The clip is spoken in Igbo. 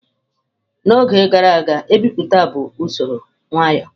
N'oge gara aga ebipụta bụ usoro nwayo.